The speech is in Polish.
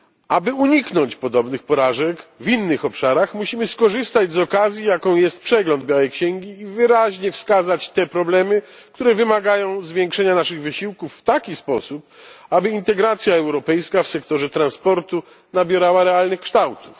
Aby uniknąć podobnych porażek w innych obszarach, musimy skorzystać z okazji, jaką jest przegląd białej księgi, i wyraźnie wskazać te problemy, które wymagają zwiększenia naszych wysiłków w taki sposób, aby integracja europejska w sektorze transportu nabierała realnych kształtów.